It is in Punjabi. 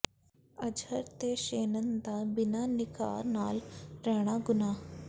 ਅਜਹਰ ਤੇ ਸ਼ੇਨਨ ਦਾ ਬਿਨਾਂ ਨਿਕਾਹ ਨਾਲ ਰਹਿਣਾ ਗ਼ੁਨਾਹ